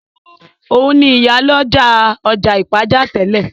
Òun ni ìyálọ́jà ọjà Ìpàjá tẹ́lẹ̀